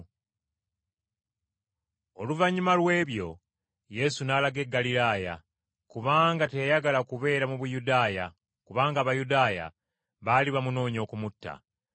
Oluvannyuma lw’ebyo, Yesu n’alaga e Ggaliraaya, kubanga teyayagala kubeera mu Buyudaaya, kubanga Abayudaaya baali bamunoonya okumutta.